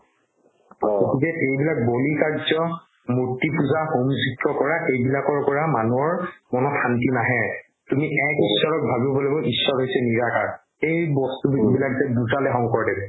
এইবিলাক বলি কাৰ্য্য মুৰ্তি পূজা হোম কৰা এইবিলাকৰ পৰা মানুহৰ মনত শান্তি নাহে তুমি এক ঈশ্ৱৰক ভাবিব লাগিব ঈশ্ৱৰ হৈছে নিৰাকাৰ এই বস্তু যোনবিলাক যে বুজালে যে শংকৰদেৱে